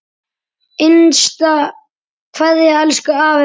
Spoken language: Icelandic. HINSTA KVEÐJA Elsku afi minn.